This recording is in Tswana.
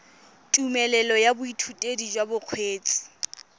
tumelelo ya boithutedi jwa bokgweetsi